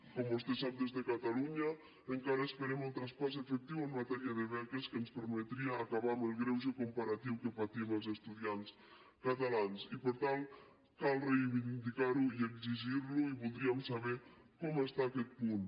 com vostè sap des de catalunya encara esperem el traspàs efectiu en matèria de beques que ens permetria acabar amb el greuge comparatiu que patim els estudiants catalans i per tant cal reivindicar lo i exigir lo i voldríem saber com està aquest punt